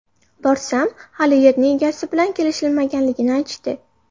Borsam, hali yerning egasi bilan kelishilmaganligini aytishdi.